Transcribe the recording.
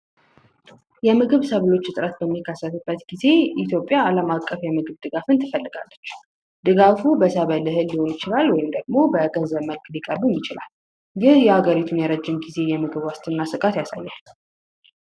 የምግብ ሰብሎች እጥረት በሚከሰትበት ጊዜ ኢትዮጵያ ዓለም አቀፍ የምግብ ድጋፎችን ትፈልጋለች። ድጋፉ በሰብል እህል ሊሆን ይችላል። ወይም ደግሞ በገንዘብ መልክ ሊቀርብ ይችላል ይህ የሀገሪቱን የረጅም ጊዜ የምግብ ዋስትና ስጋት ያሳያል።